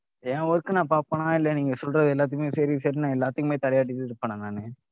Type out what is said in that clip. என் work அ நான் பார்ப்பனா? இல்ல நீங்க சொல்ற எல்லாத்தயுமே சரி சரினு நான் எல்லாத்துக்குமே தலையாட்டிட்டு இருப்பேனா நானு?